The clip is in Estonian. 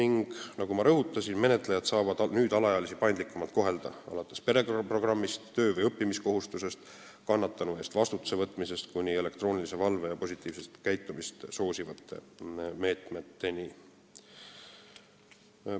Nagu ma rõhutasin, menetlejad saavad nüüd alaealisi paindlikumalt kohelda, alates pereprogrammist, töö- või õppimiskohustusest ja kannatanu ees vastutuse võtmisest kuni elektroonilise valve ja positiivset käitumist soosivate meetmeteni.